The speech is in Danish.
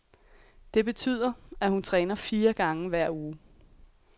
Det betyder, at hun træner fire gange hver uge.